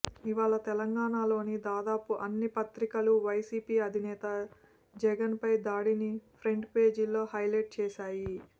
ఇవాళ తెలంగాణలోని దాదాపు అన్ని పత్రికలు వైసీపీ అధినేత జగన్పై దాడిని ఫ్రంట్ పేజీల్లో హైలైట్ చేశాయి